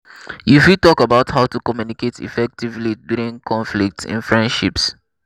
you fit talk about how to communicate effectively during conflicts in friendships.